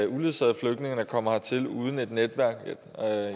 uledsagede flygtninge der kommer hertil uden et netværk